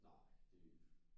Nej det øh